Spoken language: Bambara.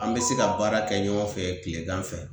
An be se ka baara kɛ ɲɔgɔn fɛ kilegan fɛ